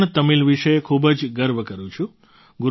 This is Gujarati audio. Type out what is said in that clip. હું પણ તમિલ વશે ખૂબ જ ગર્વ કરું છું